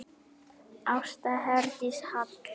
Ásta Herdís Hall.